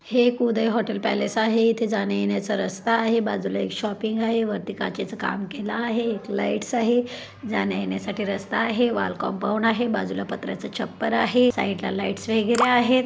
हे एक Uday hotel palace आहे इथे जाण्यायेण्याचा रस्ता आहे बाजूला एक शॉपिंग आहे वरती काचेच काम केला आहे एक लाइट्स आहे जाण्यायेण्यासाठी रस्ता आहे वॉल कंपाऊंड आहे बाजूला पत्र्याच छप्पर आहे साइडला लाइट्स वगैरे आहेत.